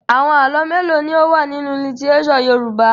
Àwọn àlọ́ mélòó ni ó wà nínú lítíréṣọ̀ Yorùbá?